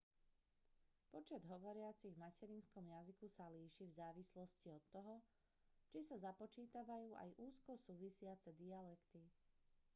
počet hovoriacich v materinskom jazyku sa líši v závislosti od toho či sa započítavajú aj úzko súvisiace dialekty